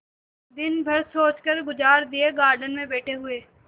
दिन भर सोचकर गुजार दिएगार्डन में बैठे हुए